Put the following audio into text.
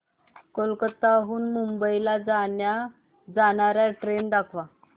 कोलकाता हून मुंबई ला जाणार्या ट्रेन दाखवा